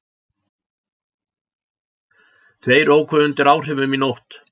Tveir óku undir áhrifum í nótt